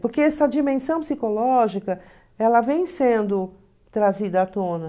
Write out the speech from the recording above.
Porque essa dimensão psicológica ela vem sendo trazida à tona.